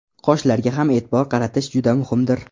Qoshlarga ham e’tibor qaratish juda muhimdir.